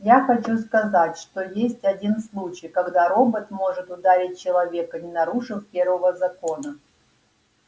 я хочу сказать что есть один случай когда робот может ударить человека не нарушив первого закона